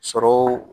Sɔrɔw